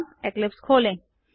अब इक्लिप्स खोलें